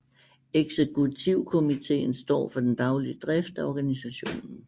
Eksekutivkomiteen står for den daglige drift af organisationen